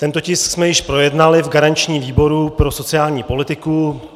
Tento tisk jsme již projednali v garančním výboru pro sociální politiku.